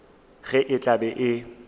ge e tla be e